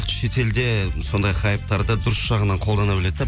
шетелде сондай хайптарды дұрыс жағынан қолдана біледі да